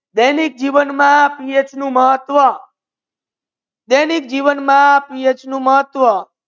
દૈનિક જીવન મા PH નુ મહાત્વા દૈનિક જીવન મા પીએચ નુ મહાત્વા